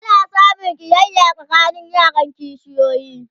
ana samun ƙiyaya tsakanin yaran kishiyoyi